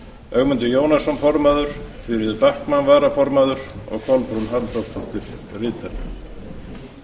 ögmundur jónsson formaður þuríður backman varaformaður kolbrún halldórsdóttir ritari